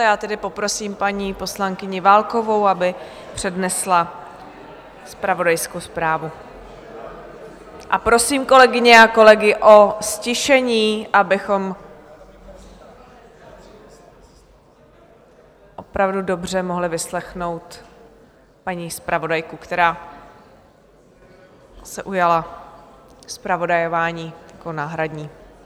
A já tedy poprosím paní poslankyni Válkovou, aby přednesla zpravodajskou zprávu, a prosím kolegyně a kolegy o ztišení, abychom opravdu dobře mohli vyslechnout paní zpravodajku, která se ujala zpravodajování jako náhradní.